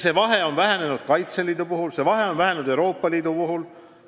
See vahe on vähenenud Kaitseliidu puhul ja see on vähenenud Euroopa Liidu puhul.